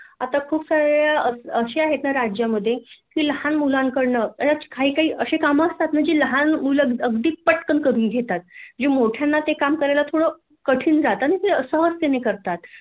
आता खूप सारे अस आहे राज्यामध्ये की लहान मुलांकडन खरच काही काही असे काम असतात जे लहान मुल अगदी पटकन करून घेतात जे मोठ्यांना ते काम करायला थाेड कठीन जातं ना ते सहजतेने करतात